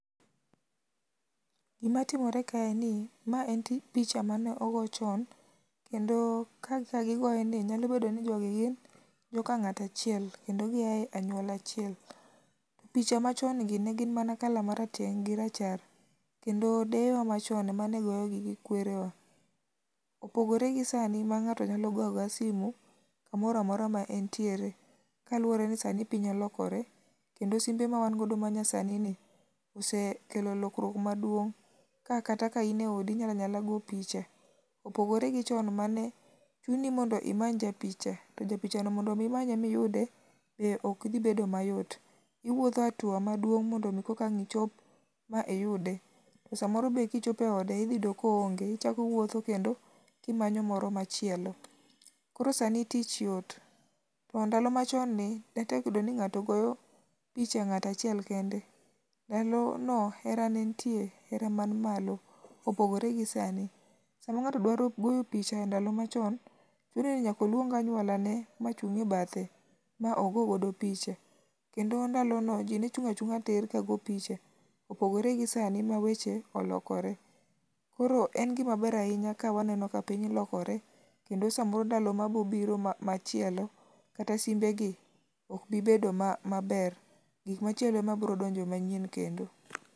Gima timore kae en ni mae en ti picha mane ogo chon, kendo kaka gogoe ni nyalo bedo ni jogi gin joka ng'ato achiel kendo gia e anyuola achiel. Picha machon gi ne gin mana kala marateng' gi rachar , kendo deyewa machon emane goyogi gi kwerewa. OPogore gi sani ma ng'ato nyalo goyo agoya simu kamora mora ma entiere kaluwore ni sani piny olokore kendo simbe ma wan go maa nyasani ni, osekelo lokruok maduong' ka kata ka in e odi inyala nyala go picha, opogore gi chon mane chuni ondo imany ja picha, to japichano mondo mi imanye ma iyude be ok dhi bedo mayot. Iwuotho atua maduong' mondo mi koka ang' ichop ma iyude. To samoro be ka ichopo e ode iyudo ka oonge ichako iwuotho kendo ka imanyo machielo. Koro sani tich yot. To ndalo machon ni ne tek yudo ni ng'ato picha ng'at achiel kende. Ndalono hera nentie hera man malo opogore gi sani. Sama ng'ato dwaro goyo picha e ndalo machon, chune ni nyaka oluong anyuolane machung' e bathe ma ogo godo picha. Kendo ndalono ji ne chung' achung'a tir kago picha, opogore gi sani ma weche olokore. Koro en gima ber ahinya ka waneno ka piny lokore kendo samoro sama bobiro machielo kata simbe gi ok bibedo ma maber, gik machielo ema bro donjo manyien kendo.